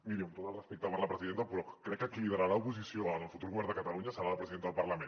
miri amb tot el respecte per la presidenta però crec que qui liderarà l’oposició en el futur govern de catalunya serà la presidenta del parlament